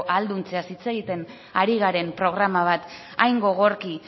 ahalduntzeaz hitz egiten ari garen programa bat hain gogorki